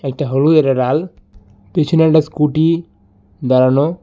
এটা হল এডা লাল পিছনে একটা স্কুটি দাঁড়ানো।